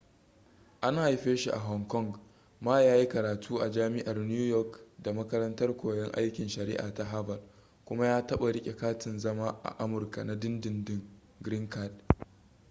an haife shi a hong kong ma ya yi karatu a jami'ar new york da makarantar koyon aikin shari'a ta harvard kuma ya taɓa riƙe katin zama a amurka na dindindin green card